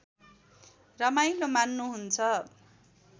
रमाइलो मान्नु हुन्छ